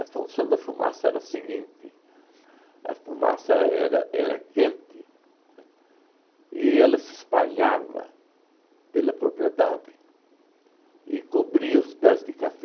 função da fumaça era a seguinte, a fumaça era era quente, né, e ela se espalhava pela propriedade e cobria os pés de café.